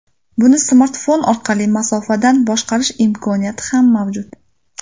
Buni smartfon orqali masofadan boshqarish imkoniyati ham mavjud.